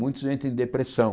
Muitos entram em depressão.